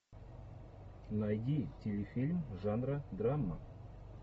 найди телефильм жанра драма